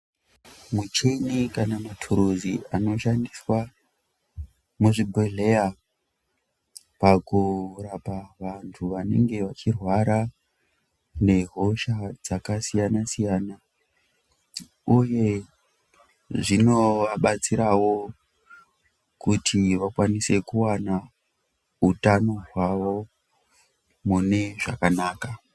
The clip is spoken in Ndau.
Muchini kana maturuzi anoshandiswa muzvibhehlera pakurapa vantu vanenge vachireara ngehosha dzakasiyana siyana uye zvinovabatsirawo kuti vakwanise kuwana utano hwavo munezvakanaka